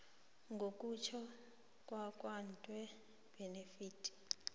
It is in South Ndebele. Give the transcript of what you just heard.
ngokutjho kwakatw bennett